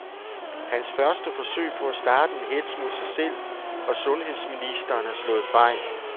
Hans første forsøg på at starte en hetz mod sig selv og sundheds ministeren er slået fejl.